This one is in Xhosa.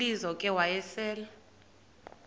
lizo ke wayesel